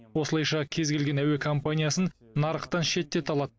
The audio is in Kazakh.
осылайша кез келген әуе компаниясын нарықтан шеттете алады